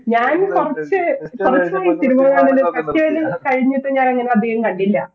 ഞാൻ കൊറച്ചായി cinema കൾ അങ്ങനെ കഴിഞ്ഞട്ടു ഞാൻ അങ്ങനെ അതികം കണ്ടില്ല